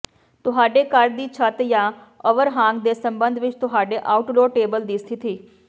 ਤੁਹਾਡੇ ਘਰ ਦੀ ਛੱਤ ਜਾਂ ਓਵਰਹਾਂਗ ਦੇ ਸਬੰਧ ਵਿੱਚ ਤੁਹਾਡੇ ਆਊਟਡੋਰ ਟੇਬਲ ਦੀ ਸਥਿਤੀ